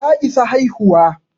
Ta isa haihuwa